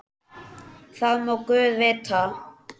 Það má guð vita.